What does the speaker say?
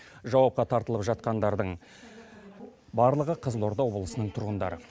жауапқа тартылып жатқандардың барлығы қызылорда облысының тұрғындары